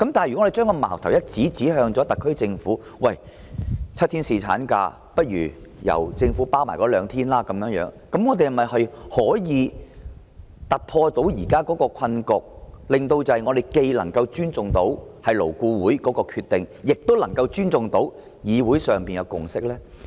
如果我們將矛頭指向特區政府，建議由政府承擔7天侍產假中額外兩天假期的開支，這樣是否可以突破現時的困局，令我們既能尊重勞顧會的決定，亦能尊重議會的共識？